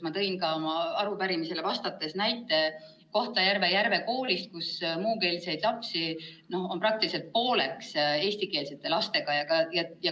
Ma tõin arupärimisele vastates näitena esile Kohtla-Järve Järve Kooli, kus on muukeelseid lapsi praktiliselt pooleks eestikeelsete lastega.